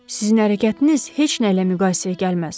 Sizin hərəkətiniz heç nə ilə müqayisəyə gəlməz.